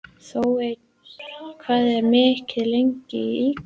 Þeódóra, hvað er opið lengi í IKEA?